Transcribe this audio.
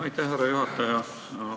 Aitäh, härra juhataja!